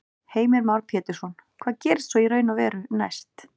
Heimir Már Pétursson: Hvað gerist svo í raun og veru næst?